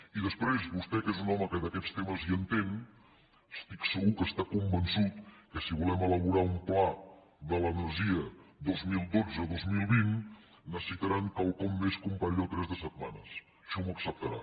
i després vostè que és un home que d’aquests temes hi entén estic segur que està convençut que si volem elaborar un pla de l’energia vint milions cent i vint dos mil vint necessitaran quelcom més que un parell o tres de setmanes això m’ho acceptarà